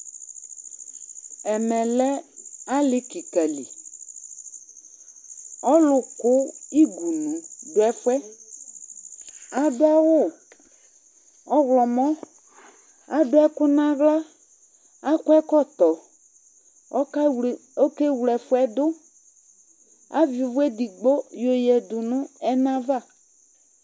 Ɛmɛ lɛ alɩ kɩka li Ɔlʋkʋ igunu dʋ ɛfʋ yɛ Adʋ awʋ ɔɣlɔmɔ Adʋ ɛkʋ nʋ aɣla Akɔ ɛkɔtɔ Ɔkawle ɔkewle ɛfʋ yɛ dʋ Avɩ ʋvʋ edigbo yɔyǝdu nʋ ɛna ava